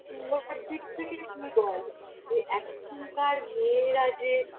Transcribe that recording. দিক থেকে তুই বল যে এখনকার মেয়েরা যে